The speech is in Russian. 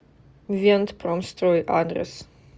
вентпромстрой адрес